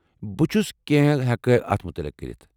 بہٕ چُھ کینٛہہ ہیکہٕ اتھ متعلق کٔرِتھ ۔